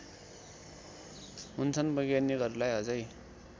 हुन्छन् वैज्ञानिकहरूलाई अझै